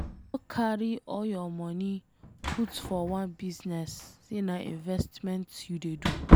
No carry all your money put for one business say na investment you dey do